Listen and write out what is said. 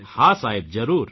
હા સાહેબ જરૂર